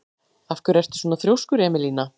Af hverju ertu svona þrjóskur, Emelína?